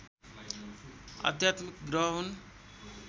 आध्यात्मिक ग्रह हुन्